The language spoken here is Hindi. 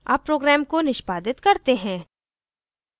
अब program को निष्पादित करते हैं